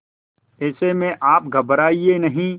ऐसे में आप घबराएं नहीं